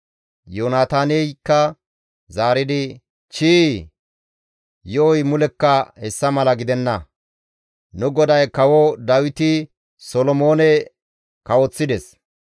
Yoonataaneykka zaaridi, «Chii, yo7oy mulekka hessa mala gidenna; nu goday kawo Dawiti Solomoone kawoththides.